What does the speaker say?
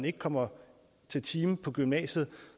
ikke kommer til time på gymnasiet